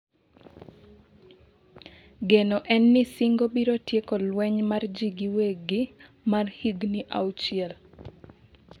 geno en ni singo biro tieko lweny mar ji giwegi mar higni auchiel